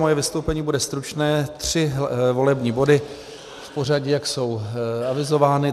Moje vystoupení bude stručné, tři volební body v pořadí, jak jsou avizovány.